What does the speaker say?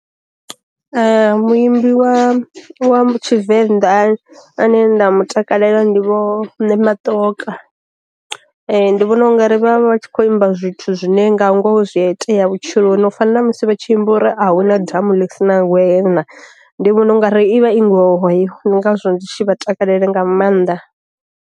Muimbi wa wa tshivenḓa ane nda mutakalela ndi vho ṋematoka, ndi vhona u nga ri vha vha tshi kho imba zwithu zwithu zwine nga ngoho zwi a itea vhutshiloni, u fana na musi vha tshi amba uri a hu na damu ḽisina ngwena, ndi vhona u nga ri i vha i ngoho heyo ndi ngazwo ndi tshi vha takalela nga maanḓa.